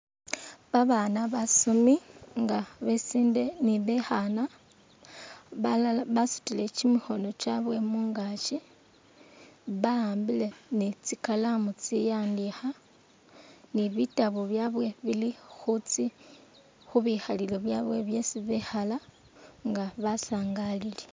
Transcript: Babaana basoomi nga besinde ni bekhaana, balala basutile kyimikhono kyabwe mungaakyi ba'ambile ni'tsikalamu tsi'andikha ni'bitabu byebwe bili khubikhalilo byabwe byesi bekhala nga basangalile